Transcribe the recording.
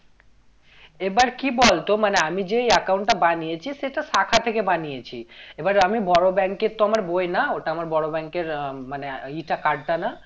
এবার কি বলতো মানে আমি যেই account টা বানিয়েছি সেটা শাখা থেকে বানিয়েছি এবার আমি বড়ো bank এর তো আমার বই না ওটা আমার বড়ো bank এর মানে ই টা card টা না